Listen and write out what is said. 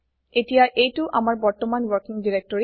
এতিয়া এইটো আমাৰ বৰ্তমান ৱৰ্কিং directory